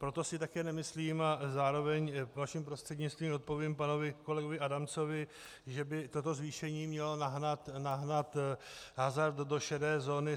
Proto si také nemyslím, a zároveň vaším prostřednictvím odpovím panu kolegovi Adamcovi, že by toto zvýšení mělo nahnat hazard do šedé zóny.